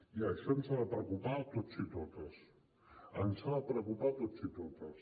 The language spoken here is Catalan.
i això ens ha de preocupar a tots i a totes ens ha de preocupar a tots i a totes